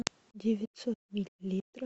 девятьсот миллилитров